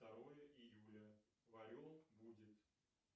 второе июля в орел будет